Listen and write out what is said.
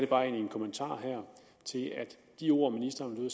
bare en kommentar her til at de ord ministeren